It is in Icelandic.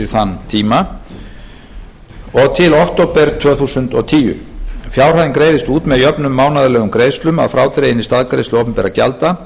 þann tíma og til október tvö þúsund og tíu fjárhæðin greiðist út með jöfnum mánaðarlegum greiðslum að frádreginni staðgreiðslu opinberra gjalda